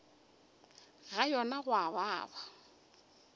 ga yona go a baba